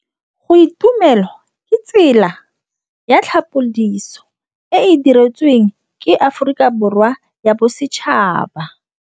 Go itumela ke tsela ya tlhapolisô e e dirisitsweng ke Aforika Borwa ya Bosetšhaba.